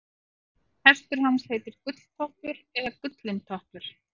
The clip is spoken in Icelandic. hestur hans heitir gulltoppur eða gullintoppur